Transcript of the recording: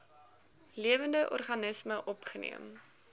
lewende organismes opgeneem